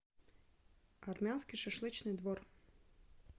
армянский шашлычный двор